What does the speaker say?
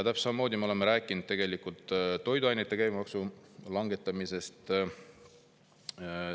Täpselt samamoodi me oleme rääkinud toiduainete käibemaksu langetamisest.